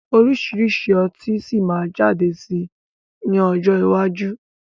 Oríṣiríṣi ọtí si maa jáde sí ní ọjọ́ iwájú